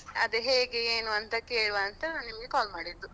ಅದ್ ಹೇಗೆ ಏನು ಅಂತ ಕೇಳುವ ಅಂತ ನಿಮ್ಗೆ call ಮಾಡಿದ್ದು.